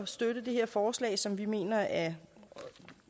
støtte det her forslag som vi mener er